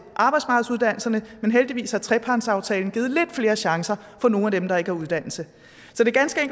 arbejdsmarkedsuddannelserne men heldigvis har trepartsaftalen givet lidt flere chancer for nogle af dem der ikke har uddannelse